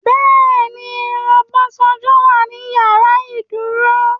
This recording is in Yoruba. Bẹ́ẹ̀ni Obasanjo wà ní ìyàrá ìdúró.